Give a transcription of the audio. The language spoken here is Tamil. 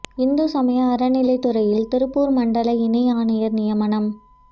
இந்து சமய அறநிலையத் துறையில் திருப்பூர் மண்டல இணை ஆணையர் நியமனம்